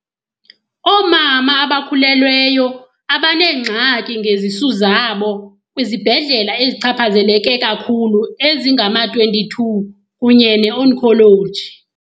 oomama abakhulelweyo abaneengxaki ngezisu zabo kwizibhedlela ezichapha zeleke kakhulu ezingama-22 kunye neoncology .